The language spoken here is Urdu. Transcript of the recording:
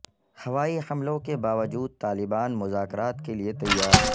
ہوائی حملوں کے باوجود طالبان مذاکرات کے لیے تیار